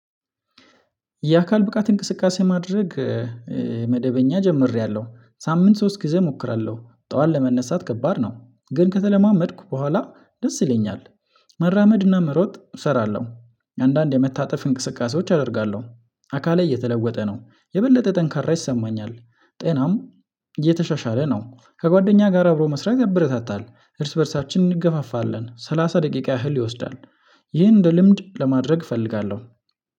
የአካል ብቃት እንቅስቃሴ ማድረግ መደበኛ ጀምሬያለሁ ሳምንት ሶስት ጊዜ እሞክራለሁ ጠዋት ለመነሳት ከባድ ነው ግን ከተለማመድኩ በኋላ ደስ ይለኛል። መራመድና መሮጥ እሰራለሁ አንዳንድ የመታጠፍ እንቅስቃሴዎች አደርጋለሁ። አካሌ እየተለወጠ ነው የበለጠ ጠንካራ ይሰማኛል ጤናም እየተሻሻለ ነው። ከጓደኛ ጋር አብሮ መስራት ያበረታታል እርስ በእርሳችን እንገፋፋለን ሰላሳ ደቂቃ ያህል ይወስዳል። ይህ እንደ ልምድ ለማድረግ እፈልጋለሁ።